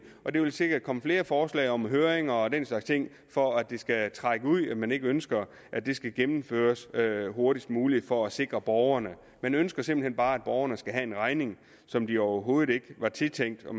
og der vil sikkert komme flere forslag om høringer og den slags ting for at det skal trække ud og fordi man ikke ønsker at det skal gennemføres hurtigst muligt for at sikre borgerne man ønsker simpelt hen bare at borgerne skal have en regning som de overhovedet ikke var tiltænkt og